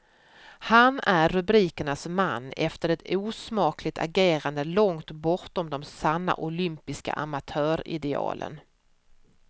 Han är rubrikernas man efter ett osmakligt agerande långt bortom de sanna olympiska amatöridealen.